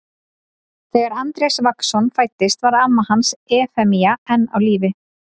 Þegar Andrés Vagnsson fæddist var amma hans Efemía enn á lífi.